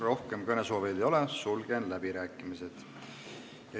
Rohkem kõnesoovijaid ei ole, sulgen läbirääkimised.